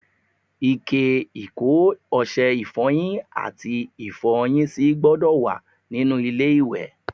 Ike ìkó ọṣẹ ifọyin àti Ifọ́yín sì gbọ́dọ̀ wá nínú ilé-iwẹ̀.